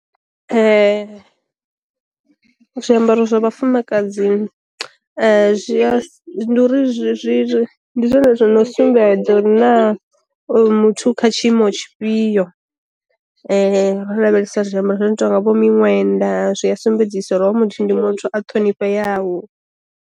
Zwiambaro zwa vhafumakadzi zwi a ndi uri zwi zwi zwi ndi zwone zwo no sumbedza uri na oyu muthu kha tshiimo tshifhio, ro lavhelesa zwiambaro zwi no tonga vho miṅwenda zwi a sumbedzisa uri hoyo muthu ndi muthu a ṱhonifheyaho.